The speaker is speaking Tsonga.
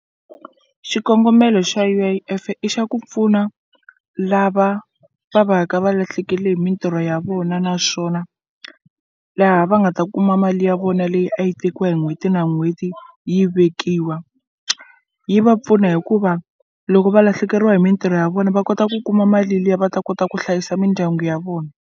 Xikongomelo xa U_I_F i xa ku pfuna lava va va ka va lahlekele hi mintirho ya vona naswona laha va nga ta kuma mali ya vona na leyi a yi tekiwa hi n'hweti na n'hweti yi vekiwa yi va pfuna hikuva loko va lahlekeriwa hi mintirho ya vona va kota ku kuma mali liya va ta kota ku hlayisa mindyangu ya vona.